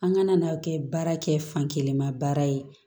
An kana n'a kɛ baara kɛ fankelen ma baara ye